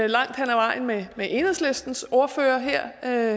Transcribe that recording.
langt hen ad vejen med enhedslistens ordfører her